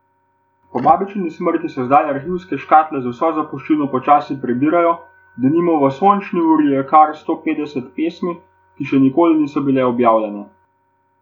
Po babičini smrti se zdaj arhivske škatle z vso zapuščino počasi prebirajo, denimo v Sončni uri je kar sto petdeset pesmi, ki še nikoli niso bile objavljene.